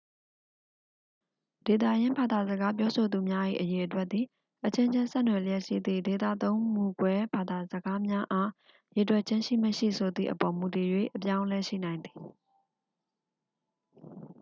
ဒေသရင်းဘာသာစကားပြောဆိုသူများ၏ အရေအတွက်သည် အချင်းချင်း ဆက်နွယ်လျက်ရှိသည့် ဒေသသုံးမူကွဲဘာသာစကားများအား ရေတွက်ခြင်းရှိမရှိဆိုသည့်အပေါ် မူတည်၍ အပြောင်းအလဲရှိနိုင်သည်